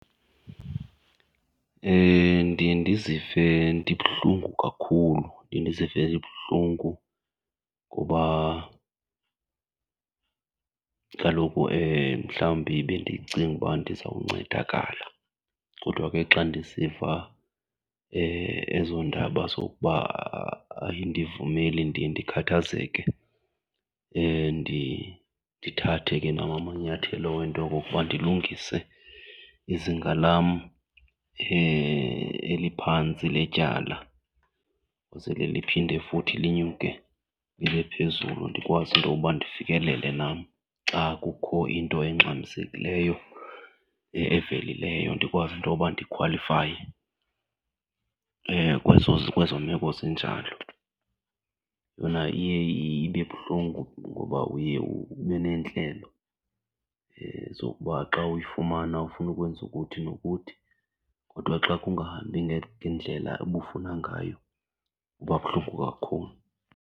Ndiye ndizive ndibuhlungu kakhulu, ndiye ndizive ndibuhlungu. Ngoba kaloku mhlawumbi bendicinga uba ndizawuncedakala kodwa ke xa ndisiva ezo ndaba zokuba ayindivumeli ndiye ndikhathazeke ndithathe ke nam amanyathelo wento okokuba ndilungise izinga lam eliphantsi letyala, kwenzele liphinde futhi linyuke libe phezulu ndikwazi intoba ndifikelele nam. Xa kukho into engxamisekileyo evelileyo ndikwazi into yoba ndikhwalifaye kwezo meko zinjalo. Yona iye ibe buhlungu ngoba uye ube neentlelo zokuba xa uyifumana ufuna ukwenza ukuthi nokuthi kodwa xa kungahambi ngendlela ubufuna ngayo kuba buhlungu kakhulu.